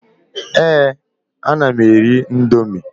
Èé, ana m eri ị̀ndómị́.